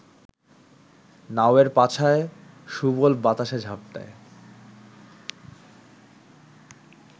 নাওয়ের পাছায় সুবল বাতাসের ঝাপটায়